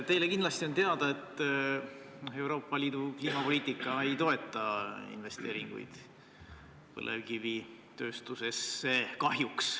Teile kindlasti on teada, et Euroopa Liidu kliimapoliitika ei toeta investeeringuid põlevkivitööstusesse – kahjuks.